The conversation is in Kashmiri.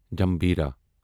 جمبھیٖرا